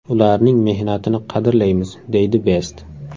Ularning mehnatini qadrlaymiz”, deydi Best.